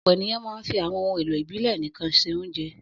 Ọ̀pọ̀ ènìyàn máa ń fi àwọn ohun-èlò ìbílẹ̀ nìkan se oúnjẹ.